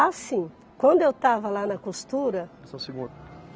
Assim, quando eu estava lá na costura... Só um segundo.